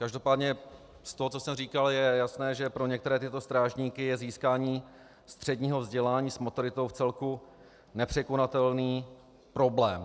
Každopádně z toho, co jsem říkal, je jasné, že pro některé tyto strážníky je získání středního vzdělání s maturitou vcelku nepřekonatelný problém.